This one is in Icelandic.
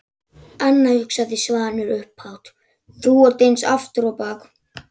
Anna, hugsaði Svanur upphátt, þú ert eins aftur á bak.